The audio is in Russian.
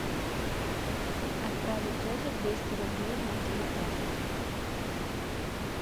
отправить тете двести рублей на телефон